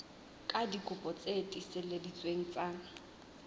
ka dikopi tse tiiseleditsweng tsa